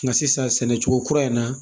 Nka sisan sɛnɛ cogo kura in na